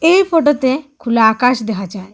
এই ফোটোতে খোলা আকাশ দেহা যায়।